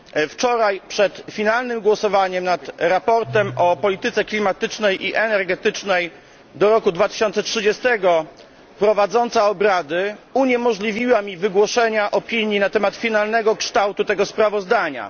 Wczoraj przed finalnym głosowaniem nad sprawozdaniem o polityce klimatycznej i energetycznej do roku 2030 prowadząca obrady uniemożliwiła mi wygłoszenie opinii na temat finalnego kształtu tego sprawozdania.